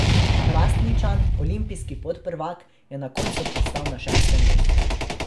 Hrastničan, olimpijski podprvak, je na koncu pristal na šestem mestu.